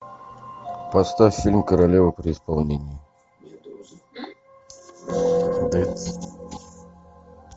поставь фильм королева при исполнении